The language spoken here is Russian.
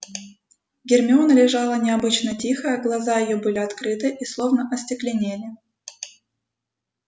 гермиона лежала необычно тихая глаза её были открыты и словно остекленели